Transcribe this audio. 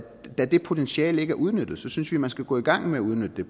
det potentiale ikke er udnyttet synes vi man skal gå i gang med at udnytte det